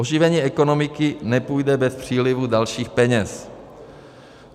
Oživení ekonomiky nepůjde bez přílivu dalších peněz.